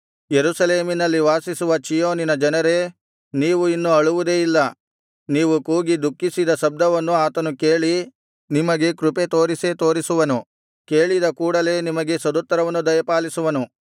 ಯೆರೂಸಲೇಮಿನಲ್ಲಿ ವಾಸಿಸುವ ಚೀಯೋನಿನ ಜನರೇ ನೀವು ಇನ್ನು ಅಳುವುದೇ ಇಲ್ಲ ನೀವು ಕೂಗಿ ದುಃಖಿಸಿದ ಶಬ್ದವನ್ನು ಆತನು ಕೇಳಿ ನಿಮಗೆ ಕೃಪೆ ತೋರಿಸೇ ತೋರಿಸುವನು ಕೇಳಿದ ಕೂಡಲೆ ನಿಮಗೆ ಸದುತ್ತರವನ್ನು ದಯಪಾಲಿಸುವನು